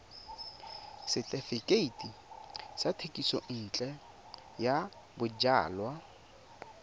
setefikeiti sa thekisontle ya bojalwa